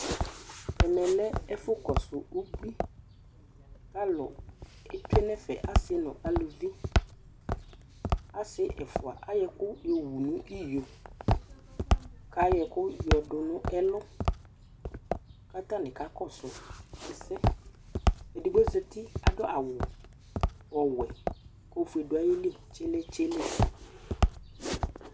Ɛmɛ lɛ ɛfʋkɔsʋ ubui kʋ alʋ etsue nʋ ɛfɛ asɩ nʋ uluvi Asɩ ɛfʋa ayɔ ɛkʋ yɔwu nʋ iyo kʋ ayɔ ɛkʋ yɔdʋ nʋ ɛlʋ kʋ atanɩ kakɔsʋ ɛsɛ Edigbo zati, adʋ awʋ ɔwɛ kʋ ofue dʋ ayili tsele tsele